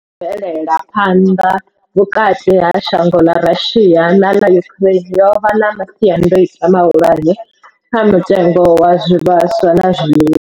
Bvela phanḓa vhukati ha shango ḽa Russia na ḽa Ukraine yo vha na masiandaitwa mahulwane kha mutengo wa zwivhaswa na zwiḽiwa.